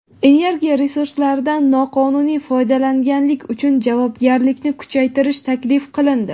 Energiya resurslaridan noqonuniy foydalanganlik uchun javobgarlikni kuchaytirish taklif qilindi.